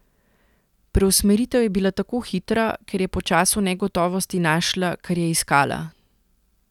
Preusmeritev je bila tako hitra, ker je po času negotovosti našla, kar je iskala.